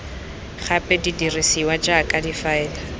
gape di dirisiwa jaaka difaele